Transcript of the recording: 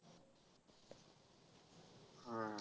हा.